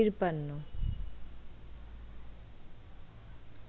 তিপান্ন,